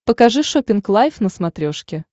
покажи шоппинг лайф на смотрешке